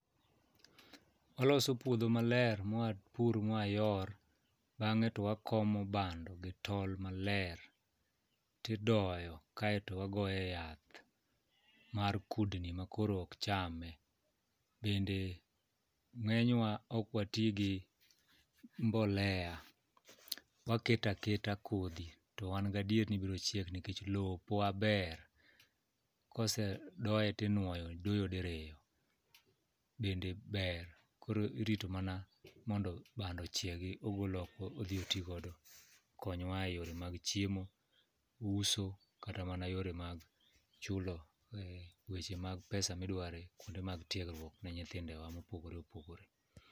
Waloso puodho maler mwapur mwayor bang'e to wakomo bando gi tol maler tidoyo kaeto wagoye yath mar kudni makoro okchame. Bende ng'enywa okwatigi mbolea, waketo aketa kodhi to wan gadier ni birochiek nikech lopwa ber. Kosedoye tinuoyo doyo diriyo bende ber koro irito mana mondo bando ochiegi ogol oko odhi otigodo okonywa e yore mag chiemo, uso kata mana yore mag chulo weche mag pesa midware kuonde mag tiegruok ne nyithindewa mopogore opogore.